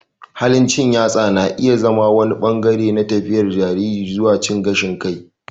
Halin cin yatsa na iya zama wani ɓangare na tafiyar jariri zuwa cin gashin kai.